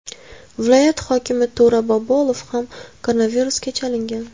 Viloyat hokimi To‘ra Bobolov ham koronavirusga chalingan .